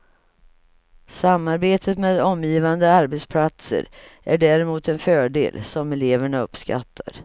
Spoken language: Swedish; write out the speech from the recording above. Samarbetet med omgivande arbetsplatser är däremot en fördel, som eleverna uppskattar.